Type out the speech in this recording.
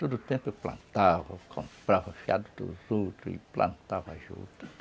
Todo tempo eu plantava, comprava fiado dos outros e plantava juta.